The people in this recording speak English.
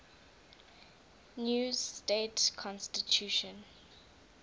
new state constitution